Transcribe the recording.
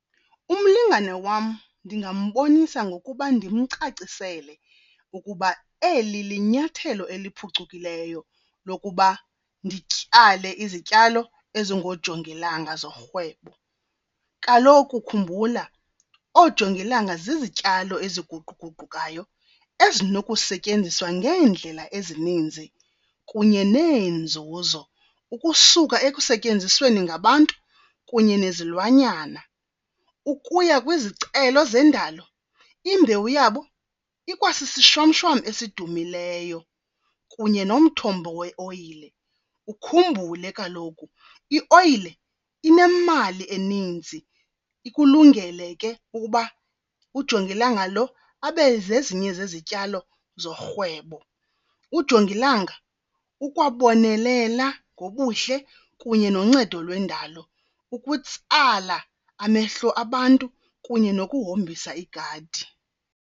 Umlingane wam ndingambonisa ngokuba ndimcacisele ukuba eli linyathelo eliphucukileyo lokuba ndityale izityalo ezingoojongilanga zorhwebo. Kaloku khumbula oojongilanga zizityalo eziguquguqukayo ezinokusetyenziswa ngeendlela ezininzi kunye neenzuzo, ukusuka ekusetyenzisweni ngabantu kunye nezilwanyana ukuya kwizicelo zendalo. Imbewu yabo ikwasisishwamshwam esidumileyo kunye nomthombo weoyile. Ukhumbule kaloku ioyile inemali eninzi, ikulungele ke ukuba ujongilanga lo abe zezinye zezityalo zorhwebo. Ujongilanga ukwabonelela ngobuhle kunye noncedo lwendalo ukutsala amehlo abantu kunye nokuhombisa igadi.